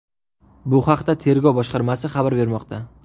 Bu haqda Tergov boshqarmasi xabar bermoqda .